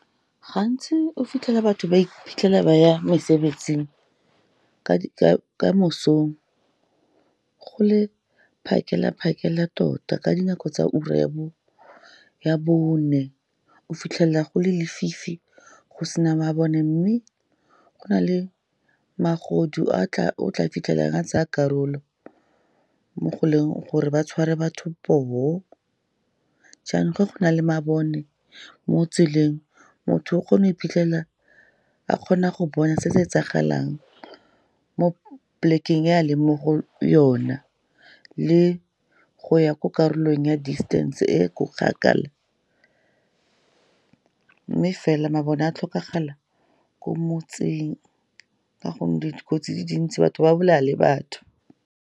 Gantsi o fitlhela batho ba iphitlhela ba ya mesebetsing ka mosong, go le phakela-phakela tota. Ka dinako tsa ura ya bone o fitlhela go le lefifi, go se na mabone. Mme go na le magodu o tla fitlhelang a tsaya karolo, mo go leng gore ba tshware batho poo. Jaanong fa go na le mabone mo tseleng, motho o kgona go iphitlhela a kgona go bona se se etsagalang mo plek-eng e a leng mo go yona, le go ya ko karolong ya distance e ko kgakala. Mme fela mabone a tlhokagalo ko motseng, ka gonne dikotsi tse dintsi, batho ba bolaya le batho.